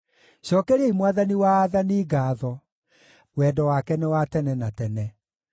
Cookeriai Mwathani wa aathani ngaatho: Wendo wake nĩ wa tene na tene.